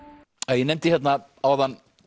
Assisi ég nefndi hérna áðan